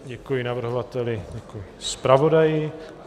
Děkuji navrhovateli, děkuji zpravodaji.